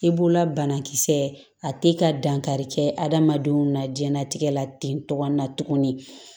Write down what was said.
I b'ola banakisɛ a te ka dankari kɛ adamadenw na jiɲɛnatigɛ la ten togo na tuguni